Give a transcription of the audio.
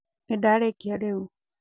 nĩndarĩkia rĩu